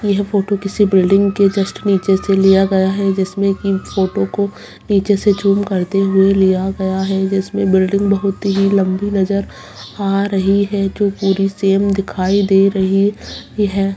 एक आदमी बैठा है जो लैपटॉप चला रहा है और कुछ आदमी खड़े हुए हैं जो सामान ले रहे हैं।